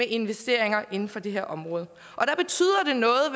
investeringerne inden for det her område